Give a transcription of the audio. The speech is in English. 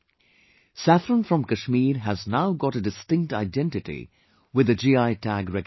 Saffron from Kashmir has now got a distinct identity with the GI Tag recognition